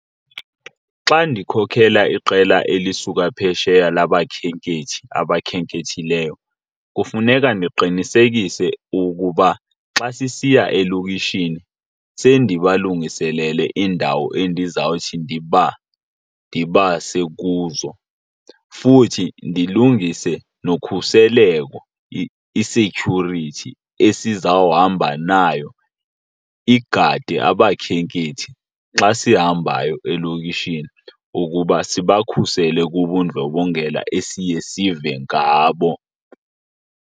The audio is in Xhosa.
Xa ndikhokhela iqela elisuka phesheya labakhenkethi abakhenkethileyo kufuneka ndiqinisekise ukuba xa sisiya elokishini sendibalungiselele iindawo endizawuthi ndibase kuzo. Futhi ndilungise nokhuseleko, i-security esizohamba nayo, igade abakhenkethi xa sihambayo elokishini ukuba sibakhusele kubundlobongela esiye sive ngabo.